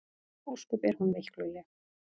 Ósköp er hún veikluleg.